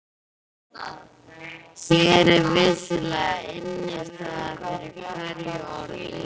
Hér er vissulega innistæða fyrir hverju orði.